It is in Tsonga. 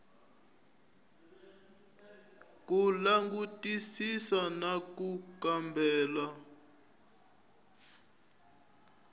ku langutisisa na ku kambela